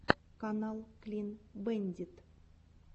канал клин бэндит